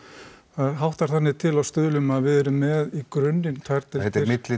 það háttar þannig til á Stuðlum að við erum með í grunninn tvær